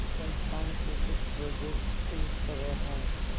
इस संस्थान के कुछ प्रोजेक्ट इस तरह हैंः